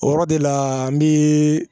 O yɔrɔ de la n bɛ